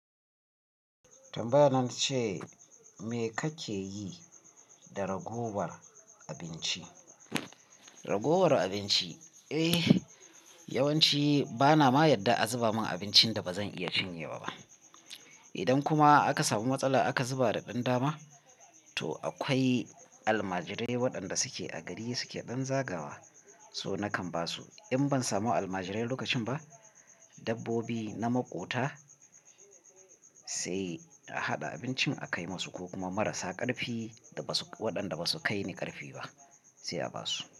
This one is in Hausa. Tambayan nan ce, me kake yi da ragowar abinci? Ragowar abinci, eh yawanci bana ma yadda a zuba min abincin da ba zan iya cinye ba. Idan kuma aka samu matsala aka zuba daɗan dama, to akwai almajirai waɗanda suke a gari suke ɗan zagawa, so nakan ba su. In ban samu almajirai lokacin ba, dabbobi na maƙota sai a haɗa abincin a kai musu ko kuma marasa ƙarfi waɗanda ba su kai ni ƙarfi ba sai a ba su.